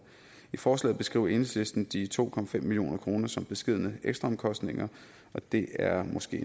i forslaget beskriver enhedslisten de to million kroner som beskedne ekstraomkostninger og det er måske